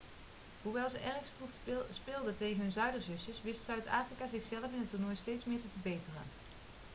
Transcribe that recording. hoewel ze erg stroef speelden tegen hun zuiderzusjes wist zuid-afrika zichzelf in het toernooi steeds meer te verbeteren